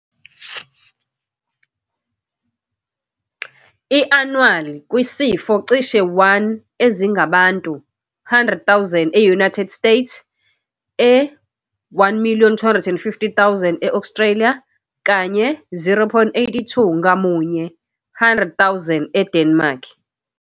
I-annual kwesifo cishe 1 ezingabantu 100,000 e-United States, e-1 250,000 e-Australia, kanye 0,82 ngamunye 100,000 eDenmark.